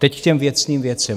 Teď k těm věcným věcem.